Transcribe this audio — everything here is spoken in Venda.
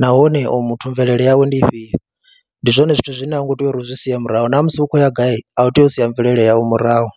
nahone oyu muthu mvelele yawe ndi ifhio. Ndi zwone zwithu zwine a u ngo tea uri u zwi sie murahu na musi u khou ya gai, a u tei u sia mvelele yau murahu.